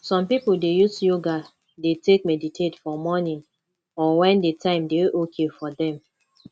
some pipo dey use yoga dey take meditate for morning or when di time dey okay for them